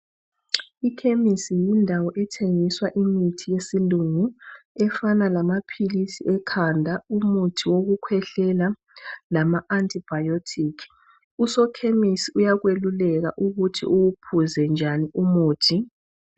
ikhemesi yindawo ethengiswa imithi yesilungu efana lamaphilisi ekhanda umuthi wokukhwehlela lama anti biotic usokhemesi uyakwalulela ukuthi uwuphuze njani umuthi